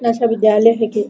ऐसा विद्यालय है की --